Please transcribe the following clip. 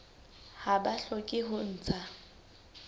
ha ba hloke ho ntsha